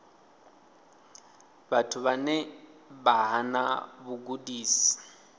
vhathu vhane vha hana vhugudisi